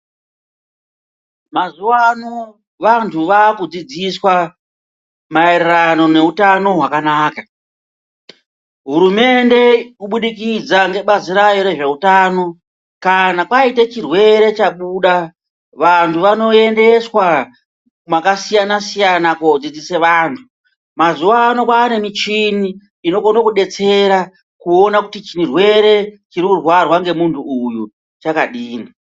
Mazuwano vantu vakudzidziswa maererano nehutano hwakanaka hurumende kubudikidza ngebazi rayo rezvehutano kana kwaite chirwere chabuda vantu vanoendeswa mwakasiyana siyana kodzidzise vantu mazuwano kwane michini inokona kudetsera kuona kuti chirwere chiri kurwarwa ngemuntu uyu chakadini